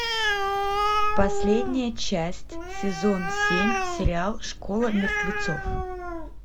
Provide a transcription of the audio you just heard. последняя часть сезон семь сериал школа мертвецов